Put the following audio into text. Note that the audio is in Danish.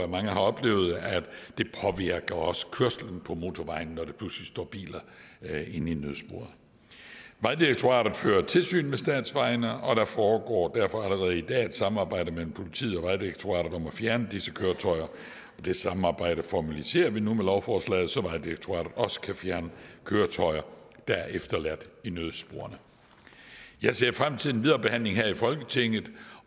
mange har oplevet at det også påvirker kørslen på motorvejene når der pludselig står biler inde i nødsporet vejdirektoratet fører tilsyn med statsvejene og der foregår derfor allerede i dag et samarbejde mellem politiet og vejdirektoratet om at fjerne disse køretøjer det samarbejde formaliserer vi nu med lovforslaget så vejdirektoratet også kan fjerne køretøjer der er efterladt i nødsporet jeg ser frem til den videre behandling her i folketinget